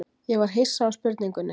Ég var hissa á spurningunni.